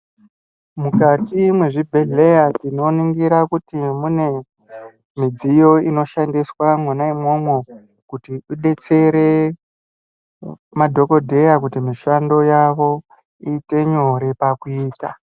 Mukati mezvibhedhlera tinoningira kuti mune midziyo inoshandiswa mwona imwomwo kuti idetsere madhogodheya kuti mishando yavo iite nyore pakuiita.